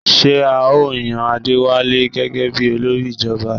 Ṣé à ó yan Adéwálé gẹ́gẹ bí olórí ìjọba?